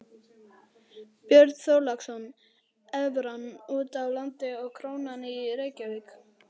Björn Þorláksson: Evran úti á landi og krónan í Reykjavík?